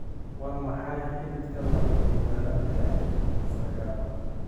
Waa maxay xididka labajibbaaran ee sagaal?